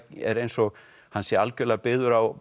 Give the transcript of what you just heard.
er eins og hann sé algjörlega byggður á